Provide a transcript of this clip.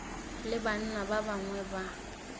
le banna ba bangwe ba